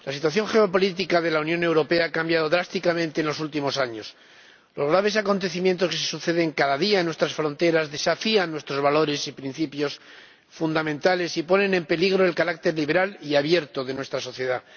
Señora Presidenta, la situación geopolítica de la Unión Europea ha cambiado drásticamente en los últimos años. Los graves acontecimientos que se suceden cada día en nuestras fronteras desafían nuestros valores y principios fundamentales, y ponen en peligro el carácter liberal y abierto de nuestra sociedad.